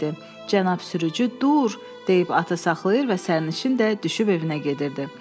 Cənab sürücü dur, deyib atı saxlayır və sərnişin də düşüb evinə gedirdi.